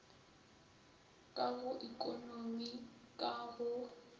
ka go ekonomi ka go